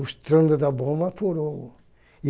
O estrando da bomba furou.